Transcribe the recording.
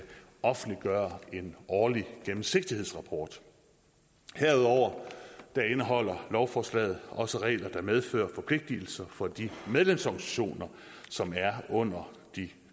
offentliggøre en årlig gennemsigtighedsrapport herudover indeholder lovforslaget også regler der medfører forpligtigelser for de medlemsorganisationer som er under de